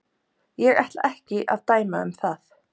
Ég ætla ekki að dæma um það.